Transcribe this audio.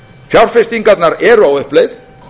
fjárfestingarnar eru á uppleið